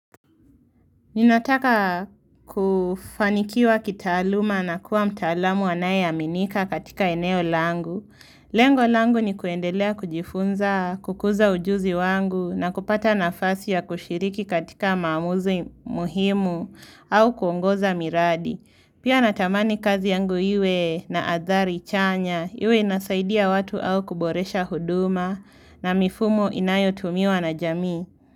Ninataka kufanikiwa kitaaluma na kuwa mtaalamu anayeaminika katika eneo langu. Lengo langu ni kuendelea kujifunza, kukuza ujuzi wangu na kupata nafasi ya kushiriki katika maamuzi muhimu au kuongoza miradi. Pia natamani kazi yangu iwe na athari chanya, iwe inasaidia watu au kuboresha huduma na mifumo inayotumiwa na jamii.